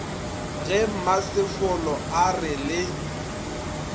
ge mmasefolo a re le